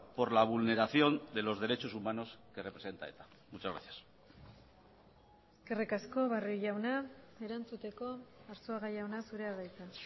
por la vulneración de los derechos humanos que representa eta muchas gracias eskerrik asko barrio jauna erantzuteko arzuaga jauna zurea da hitza